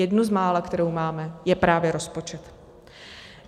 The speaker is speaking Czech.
Jednu z mála, kterou máme, je právě rozpočet.